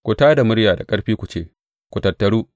Ku tā da murya da ƙarfi ku ce, Ku tattaru!